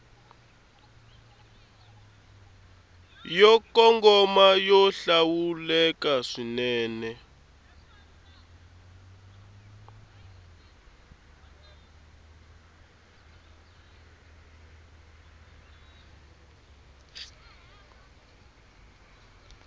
yo kongoma yo hlawuleka swinene